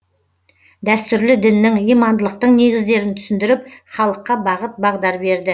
дәстүрлі діннің имандылықтың негіздерін түсіндіріп халыққа бағыт бағдар берді